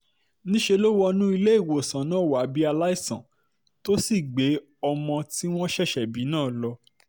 níṣẹ́ ló wọnú ilé ìwòsàn náà wá bíi aláìsàn tó sì gbé ọmọ tí wọ́n ṣẹ̀ṣẹ̀ bí náà lọ